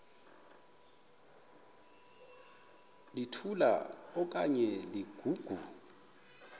litola okanye ligogo